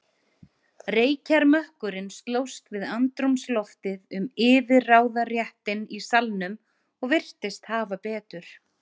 Reykjarmökkurinn slóst við andrúmsloftið um yfirráðaréttinn í salnum og virtist hafa betur.